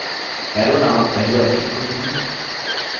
arrow named पहले option को चुनें